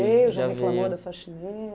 veio, já reclamou da faxineira?